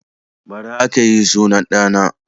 Bara aka yi sunan ɗa na